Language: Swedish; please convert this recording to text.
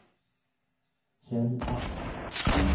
Kjell Asp